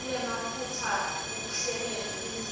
kunemaphutsa ekuhleleni tindzima